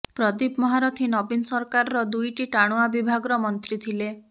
ପ୍ରଦୀପ ମହାରଥୀ ନବୀନ ସରକାରର ଦୁଇଟି ଟାଣୁଆ ବିଭାଗର ମନ୍ତ୍ରୀ ଥିଲେ